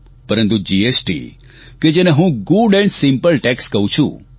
પરંતુ જીએસટી કે જેને હું ગુડ એન્ડ સિમ્પલ ટેકસ કહું છું